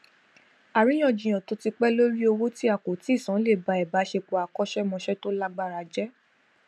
àríyànjiyàn tó ti pé lórí owó tí a kò tíì san lè ba ìbáṣepọ àkóṣẹmósẹ to lágbára je